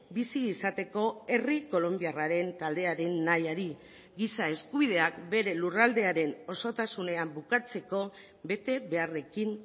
bizi izateko herri kolonbiarraren taldearen nahiari giza eskubideak bere lurraldearen osotasunean bukatzeko bete beharrekin